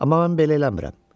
Amma mən belə eləmirəm.